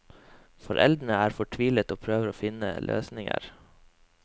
Foreldrene er fortvilet og prøver å finne løsninger.